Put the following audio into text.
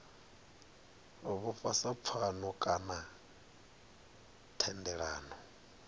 vhofha sa pfano kana thendelano